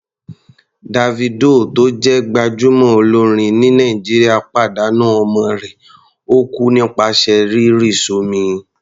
Davido tó jẹ́ gbájúmọ́ olórin ní Nàìjíríà pàdánù ọmọ rẹ̀, ó kú nípasẹ̀ rírì s'ọ́mi.